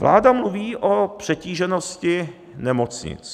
Vláda mluví o přetíženosti nemocnic.